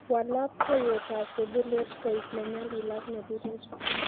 Wal labkeyetab sebulet kue ne nyalil ak ne birer